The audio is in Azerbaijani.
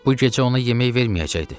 Bu gecə ona yemək verməyəcəkdi.